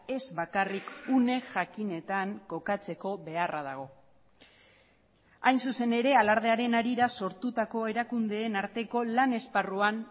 ez bakarrik une jakinetan kokatzeko beharra dago hain zuzen ere alardearen harira sortutako erakundeen arteko lan esparruan